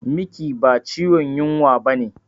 Miki ba ciwon yunwa bane